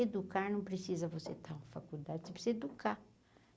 Educar não precisa você estar na faculdade, você precisa educar.